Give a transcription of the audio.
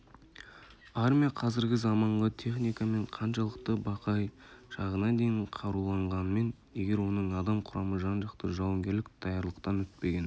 армия қазіргі заманғы техникамен қаншалықты бақайшағына дейін қаруланғанымен егер оның адам құрамы жан-жақты жауынгерлік даярлықтан өтпеген